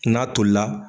N'a tolila